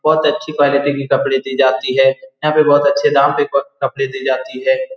बोहोत अच्छी क्वालिटी के कपड़े दी जाती है। यहाँ पर बोहोत अच्छे दाम पे कप-कपड़े दी जाती है।